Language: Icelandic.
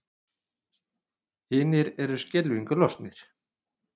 Hinir eru skelfingu lostnir.